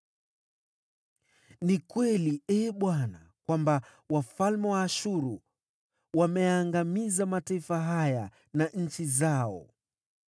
“Ni kweli, Ee Bwana , kwamba wafalme wa Ashuru wameyaangamiza mataifa haya na nchi zao.